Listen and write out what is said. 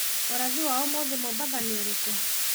ũrathi wa ũmũthĩ wa mombasa nĩ ũrĩkũ